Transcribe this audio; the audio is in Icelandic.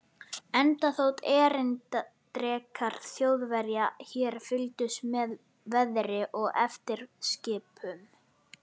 Enda þótt erindrekar Þjóðverja hér fylgdust með veðri og eftirlitsskipum